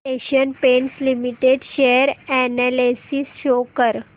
Asian Paints Limited share analysis show कर